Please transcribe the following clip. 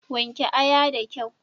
Wanke aya da kyau.